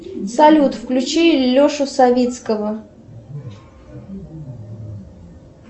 салют включи лешу савицкого